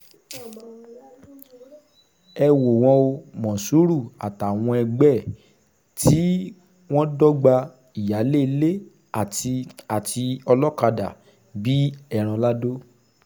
ẹ wò wọ́n o mòṣúrù àtàwọn ẹgbẹ́ ẹ̀ tí wọ́n dọ́gba ìyáálé ilé àti àti olókàdá bíi ẹran lado